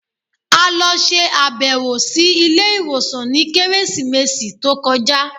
A lọ ṣe abẹwo si ile iwosan ni Keresimesi to kọja